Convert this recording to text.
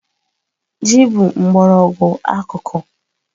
Ji bụ mgbọrọgwụ akuku.